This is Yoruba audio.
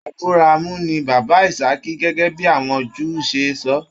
Aburamu ní bàbá Ìsàkì gẹgẹ bíi àwọn Júù se sọ.